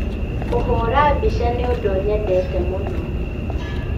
Kũhũra mbica nĩ ũndũ nyendete mũno